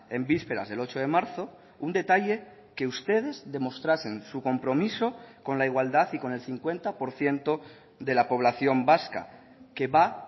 en vísperas del ocho de marzo un detalle que ustedes demostrasen su compromiso con la igualdad y con el cincuenta por ciento de la población vasca que va